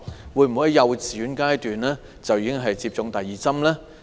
會否在幼稚園階段為幼童接種第二劑疫苗？